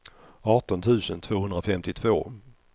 arton tusen tvåhundrafemtiotvå